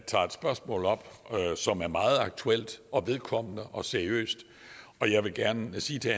tager et spørgsmål op som er meget aktuelt vedkommende og seriøst og jeg vil gerne sige til